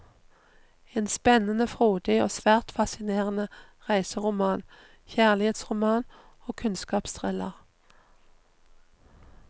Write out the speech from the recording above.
En spennende, frodig og svært fascinerende reiseroman, kjærlighetsroman og kunnskapsthriller.